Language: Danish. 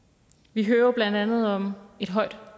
vi hører blandt andet om et højt